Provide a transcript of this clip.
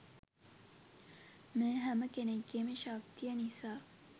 මේ හැම කෙනෙක්ගේම ශක්තිය නිසා.